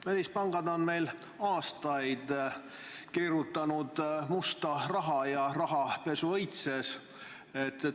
Välispangad on meil aastaid keerutanud musta raha, rahapesu õitses.